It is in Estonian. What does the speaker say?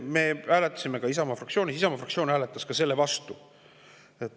Isamaa fraktsioon hääletas ka selle vastu.